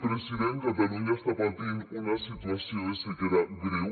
president catalunya està patint una situació de sequera greu